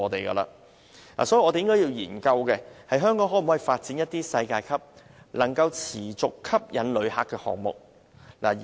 因此，我們應研究香港可否發展一些能持續吸引旅客的世界級項目。